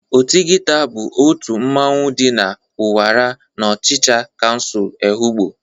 Ọtịghịta bụ otu mmanwụ ndị Ụnwara n'ọchịcha kansul Ehụgbọ.